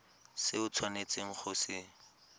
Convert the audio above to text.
se o tshwanetseng go se